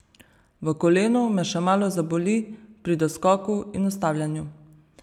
V kolenu me še malo zaboli pri doskoku in ustavljanju.